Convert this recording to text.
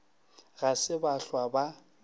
ga se ba hlwa ba